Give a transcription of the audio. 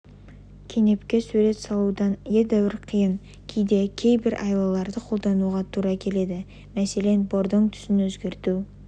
кенепке суретке салудан едәуір қиын кейде кейбір айлаларды қолдануға тура келеді мәселен бордың түсін өзгерту